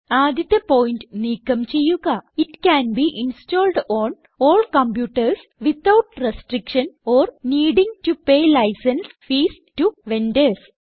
ആദ്യത്തെ പോയിന്റ് നീക്കം ചെയ്യുക it can be installed on all computers without restriction or needing to pay licence fees to vendors